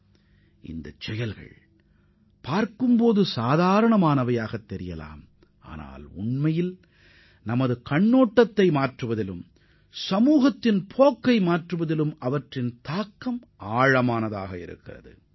ஆனால் இந்தப் பணிகள் எல்லாம் போதாது எனினும் சமுதாயத்திற்காக பாடுபடுவதற்கான புதிய வழியை காட்டுவதற்கு நமது சிந்தனையில் மிகவும் ஆழமான உணர்வுகளை இவை தூண்டியுள்ளன